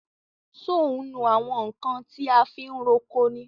So ń nu àwọn nkan ti a fi ń roko ni?